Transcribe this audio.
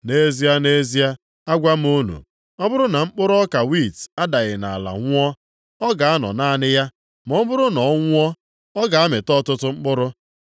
Nʼezie, nʼezie, agwa m unu, ọ bụrụ na mkpụrụ ọka wiiti adaghị nʼala nwụọ, ọ ga-anọ naanị ya. Ma ọ bụrụ na ọ nwụọ, ọ ga-amị ọtụtụ mkpụrụ.